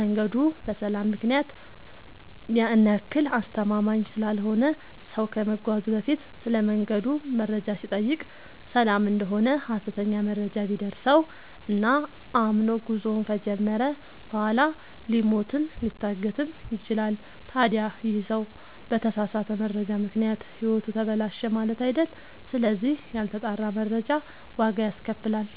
መንገዱ በሰላም ምክንያት ያን ያክል አስተማመምኝ ስላልሆነ ሰው ከመጓዙ በፊት ስለመንገዱ መረጃ ሲጠይቅ ሰላም እደሆነ ሀሰተኛ መረጃ ቢደርሰው እና አምኖ ጉዞውን ከጀመረ በኋላ ሊሞትም ሊታገትም ይችላል። ታዲ ይህ ሰው በተሳሳተ መረጃ ምክንያት ህይወቱ ተበላሸ ማለት አይደል ስለዚህ ያልተጣራ መረጃ ዋጋ ያስከፍላል።